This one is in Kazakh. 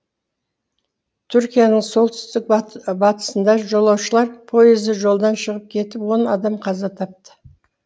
түркияның солтүстік батысында жолаушылар пойызы жолдан шығып кетіп он адам қаза тапты